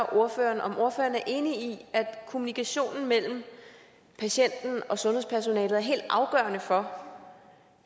ordføreren om ordføreren er enig i at kommunikationen mellem patienten og sundhedspersonalet er helt afgørende for